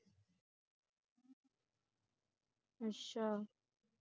ਅੱਛਾ